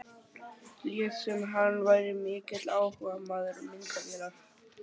Lét sem hann væri mikill áhugamaður um myndavélar.